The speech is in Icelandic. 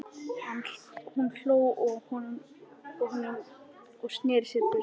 Hún hló að honum og sneri sér burt.